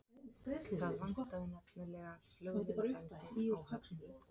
Það vantaði nefnilega flugvélabensín á Höfn.